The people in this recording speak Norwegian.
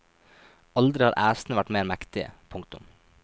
Aldri har æsene vært mer mektige. punktum